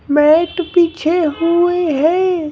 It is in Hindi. मैट बिछे हुए है।